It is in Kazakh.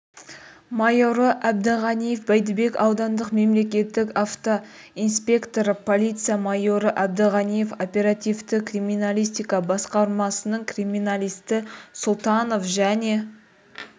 майоры әбдіғаниев бәйдібек аудандық мемлекеттік автоинспекторы полиция майоры әбдіғаниев оперативті криминалистика басқармасының криминалисті сұлтанов және